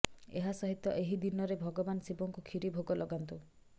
ଏହାସହିତ ଏହି ଦିନରେ ଭଗବାନ ଶିବଙ୍କୁ କ୍ଷୀରି ଭୋଗ ଲଗାନ୍ତୁ